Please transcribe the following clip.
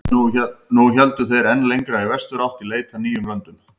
Nú héldu þeir enn lengra í vesturátt í leit að nýjum löndum.